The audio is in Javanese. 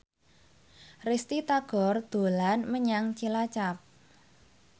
Risty Tagor dolan menyang Cilacap